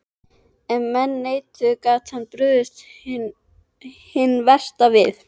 Ef menn neituðu, gat hann brugðist hinn versti við.